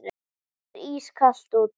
Það er ískalt úti.